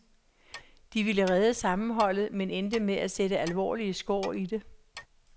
De ville redde sammenholdet, men endte med at sætte alvorlige skår i det.